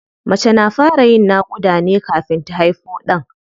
Mace na fara yin naƙuda ne kafin ta haifo ɗan.